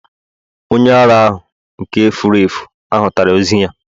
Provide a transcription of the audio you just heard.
onye ara ahu, nke furu efu, ahutara ozu ya